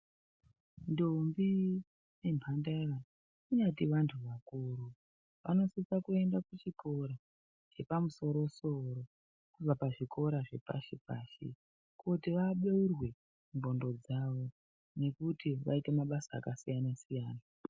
Ntombi nemhandara kunyati vantu vakuru vanosisa kuenda kuchikora chepamusoro soro kuvaka zvikora zvikora zvepashi pashi kuti vabeurwe ndxondo dzavo nekuti vaite mabasa akasiyana siyana.